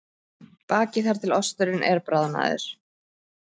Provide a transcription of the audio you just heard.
Bakið þar til osturinn er bráðnaður.